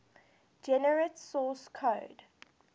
generate source code